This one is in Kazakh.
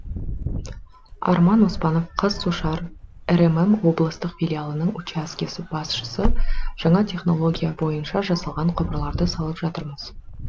арман оспанов қазсушар рмм облыстық филиалының учаске басшысы жаңа технология бойынша жасалған құбырларды салып жатырмыз